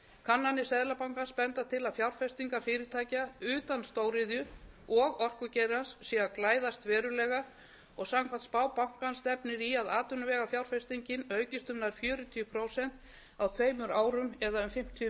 kannanir seðlabankans benda til að fjárfestingar fyrirtækja utan stóriðju og orkugeirans séu að glæðast verulega og samkvæmt spá bankans stefnir í að atvinnuvegafjárfestingin aukist um nær fjörutíu prósent á tveimur árum eða um fimmtíu